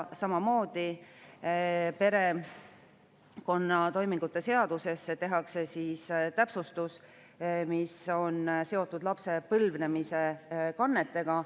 Samamoodi tehakse perekonnatoimingute seaduses täpsustus, mis on seotud lapse põlvnemise kannetega.